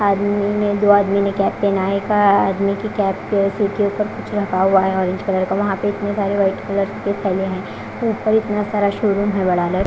आदमी ही ने दो आदमी ने कैप पेहना है। एक आदमी के कैप पे सिर के ऊपर कुछ रखा हुआ है ऑरेंज कलर का। वहां पे इतने सारे व्हाइट कलर के थैले है ऊपर इतना सारा शोरूम है बड़ा --